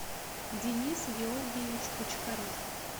денис георгиевич бочкарев